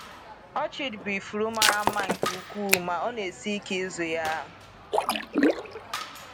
Orchid bụ ifuru mara mma nke ukwuu, ma ọ na esi ike ịzụ ya.